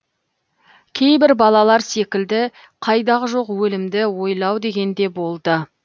кейбір балалар секілді қайдағы жоқ өлімді ойлау деген де болды